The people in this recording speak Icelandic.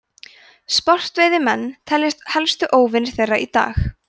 sportveiðimenn teljast helstu óvinir þeirra í dag